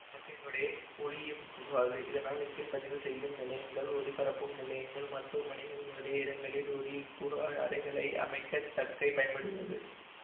தக்கையினூடே ஒலியும் புகாதுஇதனால் இசைப்பதிவு செய்யும் நிலையங்கள்ஒலிபரப்பும் நிலையங்கள் மருத்துவமனைகள் முதலிய இடங்களில் ஒலி உட்புகா அறைகளை அமைக்கத் தக்கை பயன்படுகிறது